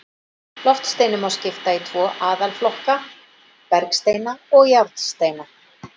Loftsteinunum má skipta í tvo aðalflokka, bergsteina og járnsteina.